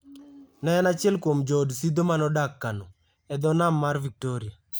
Ne en achiel kuom jood Sidho ma nodak Kano, e dho Nam mar Victoria.